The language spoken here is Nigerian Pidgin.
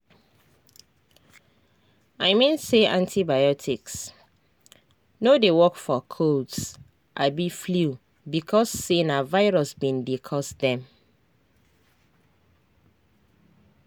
i mean say antibiotics no dey work for colds abi flu because say na virus bin dey cause dem.